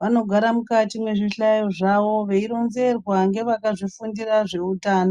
vanogara mukati mwezvihlayo zvawo veironzerwa ngevakazvifundira zveutano.